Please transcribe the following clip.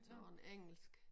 Sådan en engelsk